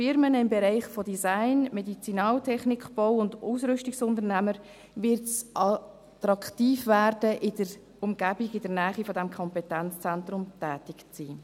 Für Unternehmen in den Bereichen Design, Medizinaltechnik, Bau und Ausrüstungsunternehmer wird es attraktiv werden, in der Umgebung, in der Nähe des Kompetenzzentrums tätig zu sein.